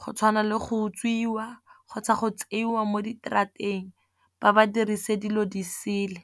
go tshwana le go utswiwa, kgotsa go tseiwa mo ditrateng ba ba dirise dilo di sele.